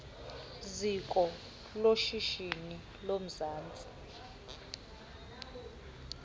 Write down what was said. ziko loshishino lomzantsi